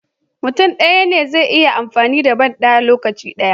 Mutun daya ne zai iya amfani da banda a lokaci daya